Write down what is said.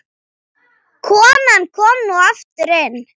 Konan kom nú aftur inn.